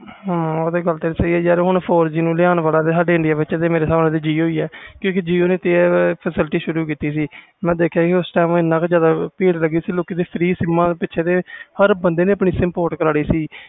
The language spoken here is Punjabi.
ਹੈ ਯਾਰ ਤੇਰੀ ਗੱਲ ਸਹੀ ਸਾਡੇ india ਵਿਚ four G ਨੂੰ ਲਿਓਂ ਵਾਲਾ jio ਆ ਕਿਉਕਿ jio ਨੇ ਸ਼ੁਰੂ ਕੀਤੀ ਸੀ four G jio ਨੂੰ ਲੈਣ ਲਗੇ ਏਨੀ ਭੀੜ ਲੱਗੀ ਸੀ jiosim ਪਿੱਛੇ ਹਰ ਬੰਦੇ ਨੇ ਆਪਣੀ sim port ਕਰ ਲਈ ਸੀ